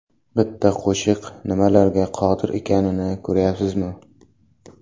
Bitta qo‘shiq nimalarga qodir ekanini ko‘ryapsizmi?